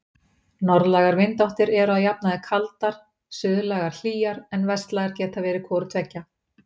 Norðlægar vindáttir eru að jafnaði kaldar, suðlægar hlýjar, en vestlægar geta verið hvoru tveggja.